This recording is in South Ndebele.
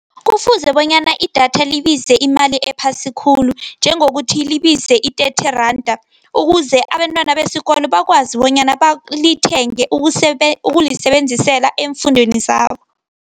Kufuze bonyana idatha libize imali ephasi khulu njengokuthi libize i-thirty randa ukuze abentwana besikolo bakwazi bonyana balithenge ukulisebenzisela eemfundweni zabo.